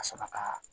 Ka sɔrɔ ka